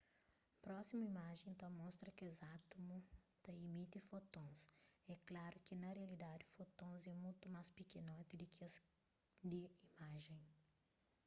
prósimu imajen ta mostra kes átumu ta imiti fótons é klaru ki na realidadi fótons é mutu más pikinoti di ki kes di imajen